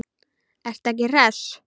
Ertu ekki hress?